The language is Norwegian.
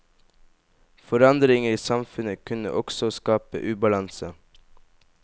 Forandringer i samfunnet kunne også skape ubalanse.